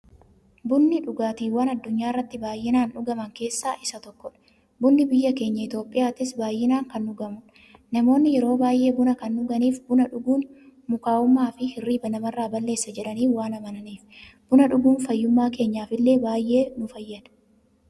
Bunni dhugaatiiwwan addunyaarratti baay'inaan dhugaman keessaa isa tokkodha. Bunni biyya keenya Itiyoophiyaattis baay'inaan kan dhugamuudha. Namoonni yeroo baay'ee buna kan dhuganiif, buna dhuguun mukaa'ummaafi hirriiba namarraa balleessa jedhanii waan amananiifi. Buna dhuguun fayyummaa keenyaf illee baay'ee nu fayyada.